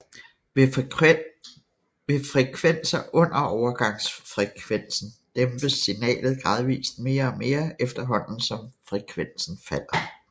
Ved frekvenser under overgangsfrekvensen dæmpes signalet gradvist mere og mere efterhånden som frekvensen falder